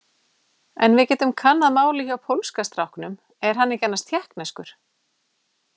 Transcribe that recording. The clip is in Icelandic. En við getum kannað málið hjá pólska stráknum, er hann ekki annars tékkneskur?